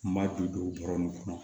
N b'a don don don bɔrɔnin kɔnɔ